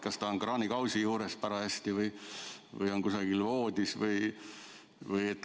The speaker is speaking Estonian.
Kas ta on kraanikausi juures parajasti või on kusagil voodis?